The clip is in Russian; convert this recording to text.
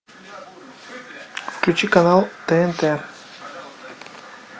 включи канал тнт